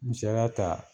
Misaliya ta